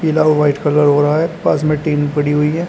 पीला white colour हो रहा है पास में टीन पड़ी हुई है।